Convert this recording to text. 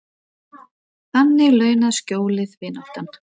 Þannig launað skjólið, vináttan.